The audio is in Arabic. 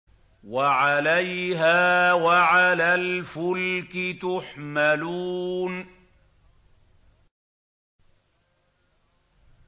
وَعَلَيْهَا وَعَلَى الْفُلْكِ تُحْمَلُونَ